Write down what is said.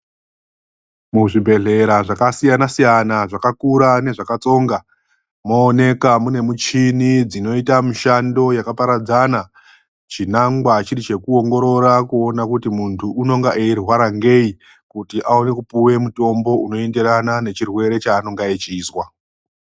Muzvibhedhlera zvakasiyana siyana zvakakura nezvakatsonga mooneka mune michini dzinoita mushando yakaparadzana, chinangwa chiri chekuongorora kuti muntu unonga weirwara ngei kuti aona kupihwe mutombo unoenderana nechirwere chaanenge echizwa.